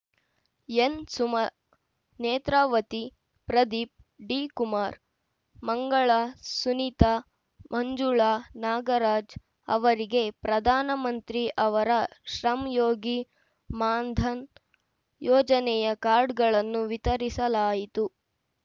ಎನ್‌ಸುಮಾ ನೇತ್ರಾವತಿ ಪ್ರದೀಪ್‌ ಡಿಕುಮಾರ್‌ ಮಂಗಳ ಸುನೀತಾ ಮಂಜುಳ ನಾಗರಾಜ್‌ ಅವರಿಗೆ ಪ್ರಧಾನ ಮಂತ್ರಿ ಅವರ ಶ್ರಮ್‌ಯೋಗಿ ಮಾನ್‌ಧನ್‌ ಯೋಜನೆಯ ಕಾರ್ಡ್‌ಗಳನ್ನು ವಿತರಿಸಲಾಯಿತು